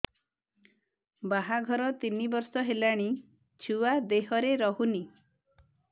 ବାହାଘର ତିନି ବର୍ଷ ହେଲାଣି ଛୁଆ ଦେହରେ ରହୁନି